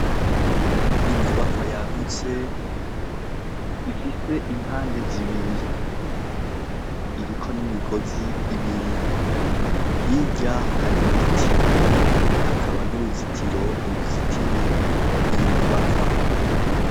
Inyubakwa yagutse ifise impande zibiri. Iriko n'imigozi ibiri. Hirya, hari ibiti hakaba n'uruzitiro ruzitiye iyo nyuybakwa.